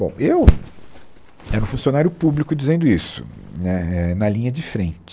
Bom, eu era um funcionário público dizendo isso, né, é na linha de frente.